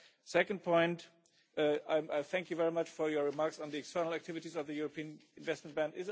Second point, I thank you very much for your remarks on the external activities of the European Investment Bank.